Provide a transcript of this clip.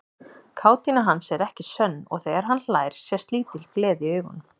Kátína hans er ekki sönn og þegar hann hlær sést lítil gleði í augunum.